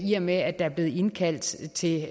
i og med at der er blevet indkaldt til